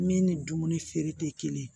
Min ni dumuni feere tɛ kelen ye